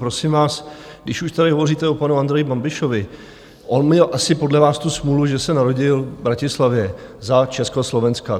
Prosím vás, když už tady hovoříte o panu Andreji Babišovi, on měl asi podle vás tu smůlu, že se narodil v Bratislavě za Československa.